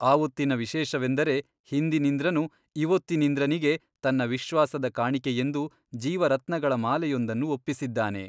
ಆವೊತ್ತಿನ ವಿಶೇಷವೆಂದರೆ ಹಿಂದಿನಿಂದ್ರನು ಇವೊತ್ತಿನಿಂದ್ರನಿಗೆ ತನ್ನ ವಿಶ್ವಾಸದ ಕಾಣಿಕೆಯೆಂದು ಜೀವರತ್ನಗಳ ಮಾಲೆಯೊಂದನ್ನು ಒಪ್ಪಿಸಿದ್ದಾನೆ.